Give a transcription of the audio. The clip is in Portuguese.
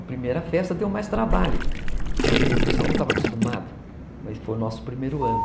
A primeira festa deu mais trabalho, porque o pessoal não estava acostumado, mas foi o nosso primeiro ano.